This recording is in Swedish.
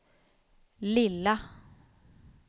lilla